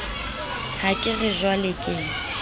ha ke re jwale ke